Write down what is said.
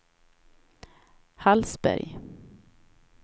Hallsberg